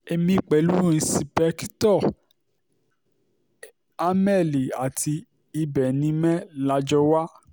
èmi pẹ̀lú ìǹṣìpẹ̀kìtọ́ amelì àti ibẹ̀nimẹ́ la jọ wà